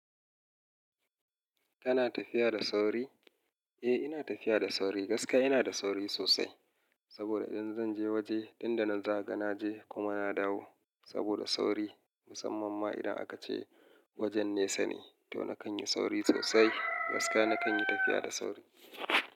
Kana tafiya da sauri? Eh ina tafiya da sauri. Gaskiya ina da sauri sosai. Saboda idan zan je waje nan da nan zakaga na je kuma na dawo. Saboda sauri musamman ma idan aka ce wajen nesa ne to nakan yi sauri sosai. Gaskiya nakan yi tafiya da sauri.